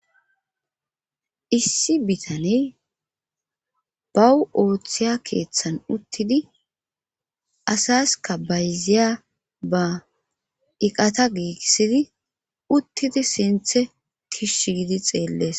Issi bitaney bawu ooththiya keeththan uttidi asaska bayziya ba iqata giissidi uttidi sinthe kishsh gidi xeellees.